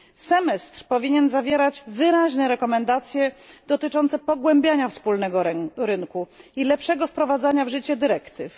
Semestr powinien zawierać wyraźne zalecenia dotyczące pogłębiania wspólnego rynku i lepszego wprowadzania w życie dyrektyw.